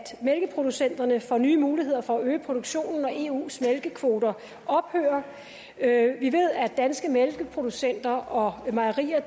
mælkeproducenterne får nye muligheder for at øge produktionen når eus mælkekvoter ophører vi ved at danske mælkeproducenter og mejerier